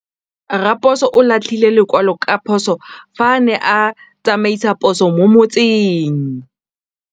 Raposo o latlhie lekwalô ka phosô fa a ne a tsamaisa poso mo motseng.